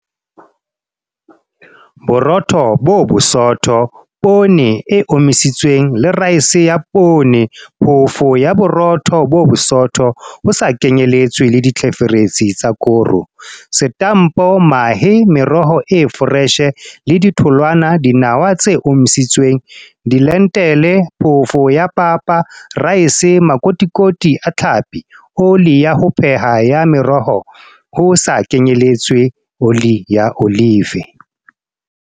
Borotho bo bosootho Poone e omisitsweng le raese ya poone Phoofo ya Borotho bo bosootho, ho sa kenyeletswe ditlheferetsi tsa koro, Setampo Mahe Meroho e foreshe le ditholwana Dinawa tse omisitsweng Dilentile Phofo ya papa Raese Makotikoti a tlhapi Oli ya ho pheha ya meroho, ho sa kenyeletswe oli ya olive.